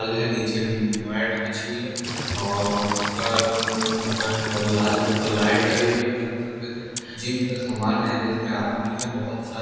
gym में mat बिछी हुई है जिम का समान है मैं रेड कलर और ब्लैक कलर का है जिम का सामान रखा हुआ है